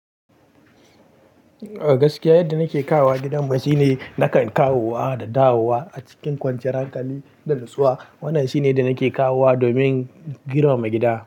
A gaskiya, yadda nake kawowa gidanmu shine nakan kawowa da dawowa a cikin kwanciyar hankali da natsuwa. Wannan shine da nake kawowa domin kiran mai gida.